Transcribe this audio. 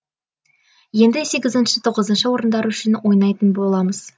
енді сегізінші тоғызыншы орындар үшін ойнайтын боламыз